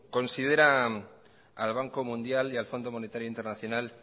considera al banco mundial y al fondo monetario internacional